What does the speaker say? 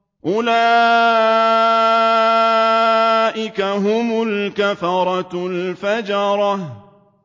أُولَٰئِكَ هُمُ الْكَفَرَةُ الْفَجَرَةُ